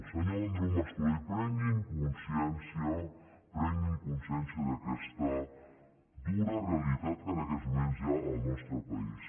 senyor andreu mascolell prenguin consciència prenguin conscièn cia d’aquesta dura realitat que en aquests moments hi ha en el nostre país